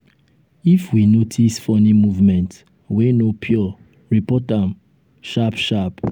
if we notice funny movement wey no pure report am sharp sharp.